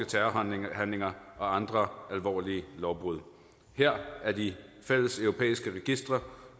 terrorhandlinger og andre alvorlige lovbrud her er de fælleseuropæiske registre